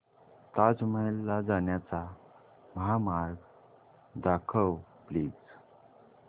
ताज महल ला जाण्याचा महामार्ग दाखव प्लीज